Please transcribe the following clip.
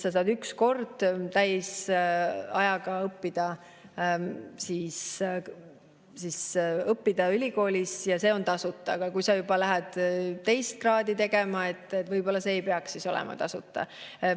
Sa saad üks kord õppida ülikoolis täisajaga ja see on tasuta, aga kui sa lähed teist kraadi tegema, siis võib-olla see ei peaks olema tasuta.